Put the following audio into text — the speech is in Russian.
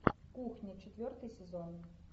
кухня четвертый сезон